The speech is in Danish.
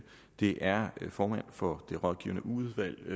det er formanden for det rådgivende udvalg